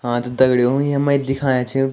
हाँ ता दगडियों येमा एक दिखायाँ छ ।